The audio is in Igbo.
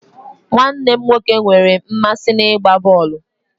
Nwanne m nwoke nwere mmasị n'ịgba bọọlụ